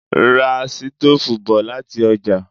Ra sítóòfù bọ̀ láti ọjà